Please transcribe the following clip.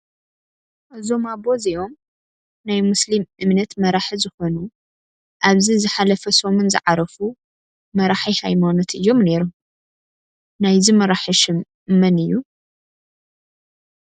እዞም ኣቦ እዚኦም ናይ ሞስሊም እምነት መራሒ ዝኮኑ ኣብዚ ዝሓለፈ ሰሙን ዝዓረፉ መራሒ ሃይማኖት እዮም ነይሮም። ናይዚ መራሒ ሽም መን እዩ?